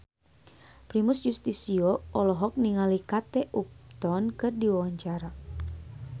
Primus Yustisio olohok ningali Kate Upton keur diwawancara